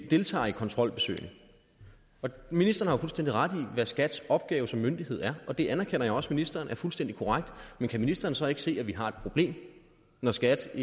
deltager i kontrolbesøgene ministeren har jo fuldstændig ret i hvad skats opgave som myndighed er og det anerkender jeg også ministeren er fuldstændig korrekt men kan ministeren så ikke se at vi har et problem når skat